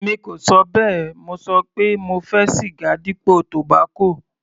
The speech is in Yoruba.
Èmi kò ṣọ bẹ́ẹ̀, mo ṣọ pé mo fẹ́ siga dípò tobacco.